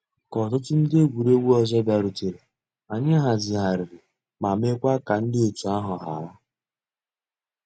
Kà òtùtù ńdí egwuregwu ọzọ bịàrùtèrè, ànyị̀ hazighàrìrì ma mekwaa ka ńdí ọ̀tù àhụ̀ hárà.